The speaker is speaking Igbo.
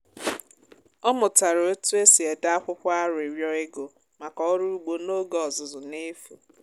ọ mụtara otu esi ede akwụkwọ arịrịọ ego maka oru ugbo n’oge ọzụzụ n’efu.